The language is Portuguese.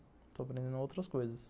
Estou aprendendo outras coisas.